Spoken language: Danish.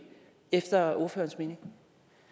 efter ordførerens mening